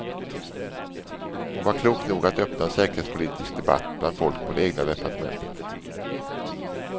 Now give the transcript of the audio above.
Hon var klok nog att öppna en säkerhetspolitisk debatt bland folk på det egna departementet.